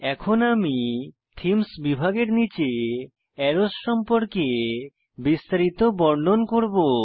এখন আমি থিমস বিভাগের নীচে অ্যারোস সম্পর্কে বিস্তারিত বর্ণন করব